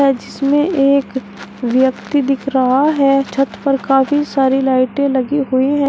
जिसमें एक व्यक्ति दिख रहा है छत पर काफी सारी लाइटे लगी हुई हैं।